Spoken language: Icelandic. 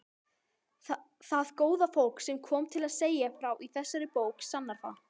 Það góða fólk sem kom til að segja frá í þessari bók sannar það.